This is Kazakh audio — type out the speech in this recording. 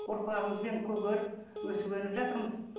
ұрпағымызбен көгеріп өсіп өніп жатырмыз